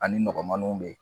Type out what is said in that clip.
Ani nɔgɔmaninw be yen.